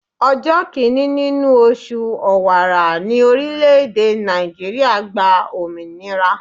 Ọjọ́ kìíní nínú oṣù Ọ̀wàrà ní orílẹ̀-èdè Nàìjíríà gba òmìnira.